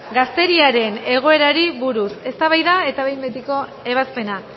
gazteriaren egoerari buruz eztabaida eta behin betiko ebazpena